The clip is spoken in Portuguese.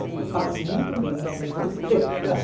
Ele falou, passe muito bem e desligou o telefone.